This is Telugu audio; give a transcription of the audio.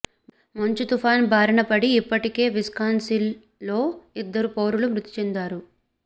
మంచు తుపాన్ బారినపడి ఇప్పటికే విస్కాన్సిస్ లో ఇద్దరు పౌరులు మృతి చెందారు